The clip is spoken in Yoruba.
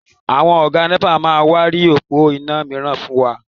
Àwọn Ọ̀gá nẹ́pà máa wá ri òpó iná mìíràn fún wa